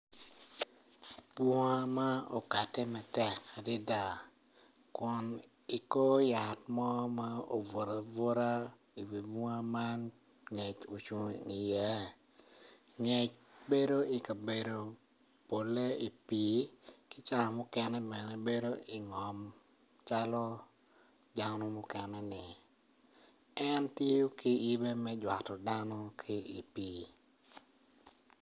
Bunga ma okate matek adada kun i kor yat mo ma obutu abuta i wi bunga man ngec ocung iye ngec bedo i kabedo polle i pii ki ca mukene bene bedo i ngom calo dano mukene-ni en tiyo ki yibe me jwato dano i pii